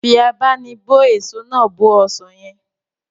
Fi abá'nibó èso náà bó ọsàn yẹn